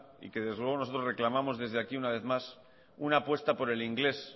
y que desde luego nosotros reclamamos desde aquí una vez más una apuesta por el inglés